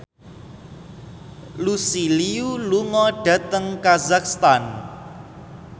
Lucy Liu lunga dhateng kazakhstan